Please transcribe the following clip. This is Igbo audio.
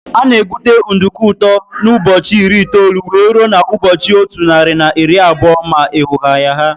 Ana egute nduku ụtọ n' ụbọchị iri itoolu wee ruo na ụbọchị ọtu narị na iri abụọ ma eghoghaa ya.